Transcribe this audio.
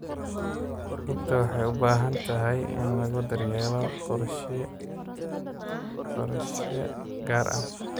Rugta waxay u baahan tahay in lagu daryeelo qorshe gaar ah.